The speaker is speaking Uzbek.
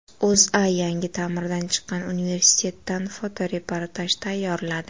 O‘zA yangi ta’mirdan chiqqan universitetdan fotoreportaj tayyorladi .